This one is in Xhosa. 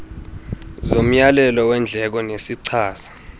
zomyalelo weendleko nezichaza